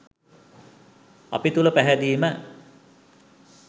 අපි තුළ පැහැදීම